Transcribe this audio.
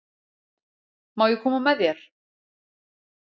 Má ég koma með þér?